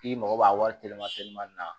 I mago b'a wari telima telimani na